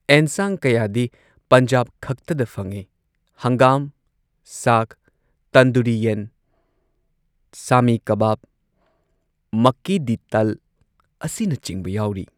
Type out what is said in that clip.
ꯑꯦꯟꯁꯥꯡ ꯀꯌꯥꯗꯤ ꯄꯟꯖꯥꯕ ꯈꯛꯇꯗ ꯐꯪꯏ, ꯍꯪꯒꯥꯝ ꯁꯥꯒ, ꯇꯟꯗꯨꯔꯤ ꯌꯦꯟ, ꯁꯥꯃꯤ ꯀꯕꯥꯕ, ꯃꯛꯀꯤ ꯗꯤ ꯇꯜ, ꯑꯁꯤꯅꯆꯤꯡꯕ ꯌꯥꯎꯔꯤ꯫